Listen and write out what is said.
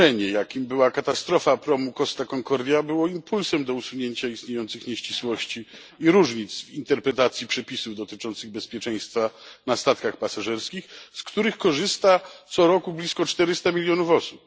wydarzenie, jakim była katastrofa promu Costa Concordia, było impulsem do usunięcia istniejących nieścisłości i różnic w interpretacji przepisów dotyczących bezpieczeństwa na statkach pasażerskich, z których korzysta co roku blisko 400 milionów osób.